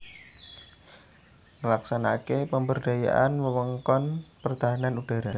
Nglaksanakaké pemberdayaan wewengkon pertahanan udhara